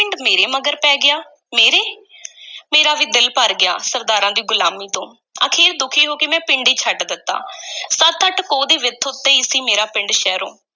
ਪਿੰਡ ਮਗਰ ਪੈ ਗਿਆ, ਮੇਰੇ ਮੇਰਾ ਵੀ ਦਿਲ ਭਰ ਗਿਆ ਸਰਦਾਰਾਂ ਦੀ ਗ਼ੁਲਾਮੀ ਤੋਂ, ਅਖੀਰ ਦੁਖੀ ਹੋ ਕੇ ਮੈਂ ਪਿੰਡ ਹੀ ਛੱਡ ਦਿੱਤਾ ਸੱਤ-ਅੱਠ ਕੋਹ ਦੀ ਵਿੱਥ ਉੱਤੇ ਈ ਸੀ ਮੇਰਾ ਪਿੰਡ ਸ਼ਹਿਰੋਂ।